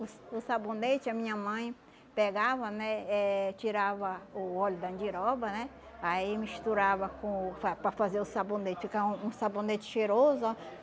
O s o sabonete, a minha mãe pegava, né, eh tirava o óleo da andiroba, né, aí misturava com fa para fazer o sabonete, ficava um sabonete cheiroso.